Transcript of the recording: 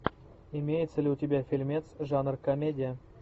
имеется ли у тебя фильмец жанр комедия